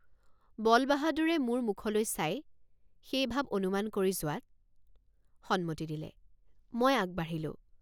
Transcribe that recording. বলবাহাদুৰে মোৰ মুখলৈ চাই সেই ভাব অনুমান কৰি যোৱাত সন্মতি দিলে মই আগবাঢ়িলোঁ।